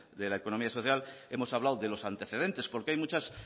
de la economía social hemos hablado de los antecedentes porque hay muchas